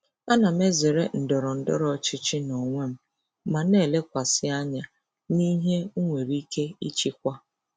Ana m ezere ndọrọ ndọrọ ọchịchị n'onwe m ma na-elekwasị anya n'ihe m nwere ike ịchịkwa.